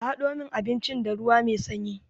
A hado min abincin da ruwa mai sanyi.